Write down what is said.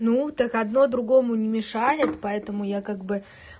ну так одно другому не мешает поэтому я как бы